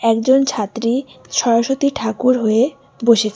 একজন ছাত্রী সরস্বতী ঠাকুর হয়ে বসেছে।